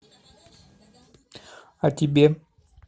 а тебе